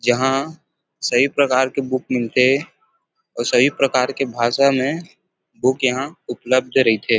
जहाँ सभी प्रकार के बुक मिलथे अऊ सभी प्रकार के भाषा में बुक यहाँ उपलब्ध रईथे।